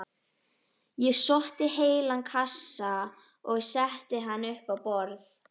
Ég sótti heilan kassa og setti hann upp á borð.